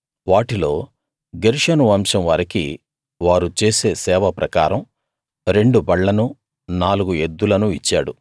వాటిలో గెర్షోను వంశం వారికి వారు చేసే సేవ ప్రకారం రెండు బళ్లనూ నాలుగు ఎద్దులను ఇచ్చాడు